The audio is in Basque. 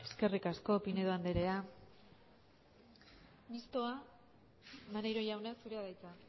eskerrik asko pinedo andrea mistoa maneiro jauna zurea da hitza